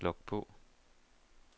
log på